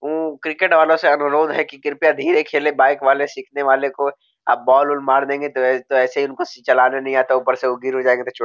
उम्म cricket वालो से अनुरोध है कि कृपया धीरे खेले बाइक वाले सिखने वालो को आप बॉल उल मार देंगे त-तो ऐसे ही उनको चलाना नहीं आता ऊपर से वो गिर उर जाएंगे तो चोट --